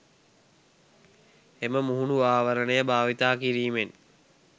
එම මුහුණු ආවරණය භාවිත කිරීමෙන්